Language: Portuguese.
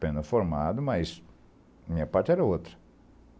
Pena formado, mas minha parte era outra.